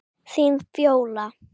Þín Fjóla.